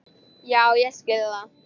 Já ég skil það.